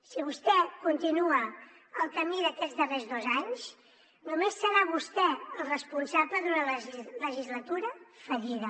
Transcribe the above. si vostè continua el camí d’aquests darrers dos anys només serà vostè el responsable d’una legislatura fallida